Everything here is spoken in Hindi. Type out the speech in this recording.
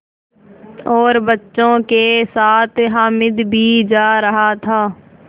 और बच्चों के साथ हामिद भी जा रहा था